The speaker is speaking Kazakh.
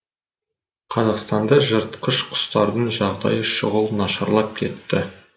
қазақстанда жыртқыш құстардың жағдайы шұғыл нашарлап кетті